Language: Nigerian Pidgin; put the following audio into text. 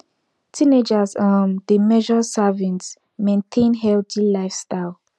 teenagers um dey measure servings maintain healthy lifestyle